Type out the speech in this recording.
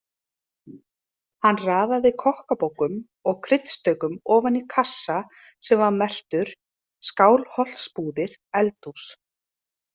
Hann raðaði kokkabókum og kryddstaukum ofan í kassa sem var merktur: Skálholtsbúðir- Eldhús.